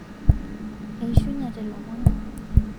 aishunyete lomon